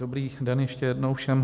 Dobrý den ještě jednou všem.